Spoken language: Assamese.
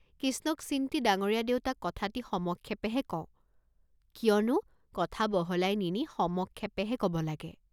কিষ্ণক চিন্তি ডাঙৰীয়া দেউতা কথাটি সমক্ষেপেহে কওঁ, কিয়নো, কথা বহলাই নিনি সমক্ষেপেহে কব লাগে।